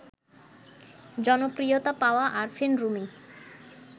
জনপ্রিয়তা পাওয়া আরফিন রুমি